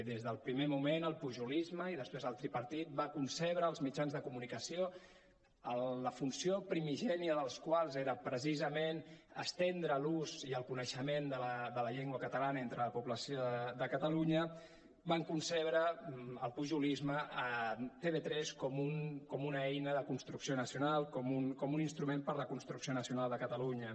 des del primer moment el pujolisme i després el tripartit va concebre els mitjans de comunicació la funció primigènia dels quals era precisament estendre l’ús i el coneixement de la llengua catalana entre la població de catalunya va concebre el pujolisme tv3 com una eina de construcció nacional com un instrument per a la construcció nacional de catalunya